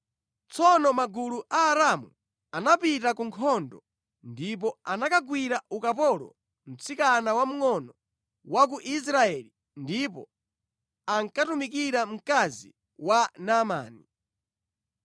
Tsono magulu a Aaramu anapita ku nkhondo ndipo anakagwira ukapolo mtsikana wamngʼono wa ku Israeli, ndipo ankatumikira mkazi wa Naamani.